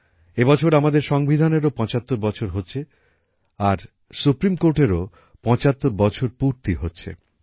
এ বছর আমাদের সংবিধানেরও পঁচাত্তর বছর হচ্ছে আর সুপ্রীম কোর্টেরও পঁচাত্তর বছর পূর্তি হচ্ছে